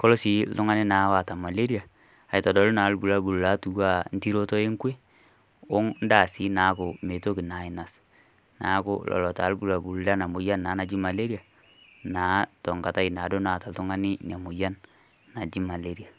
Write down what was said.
,koree si oltungani oata malaria aitodolu na entiroto enkwe ondaa si naaku mitoki ainosa, neaku lolo taa irbulabul lenamoyian naji malaria na tonkata na naata oltungani inamoyian naji malaria .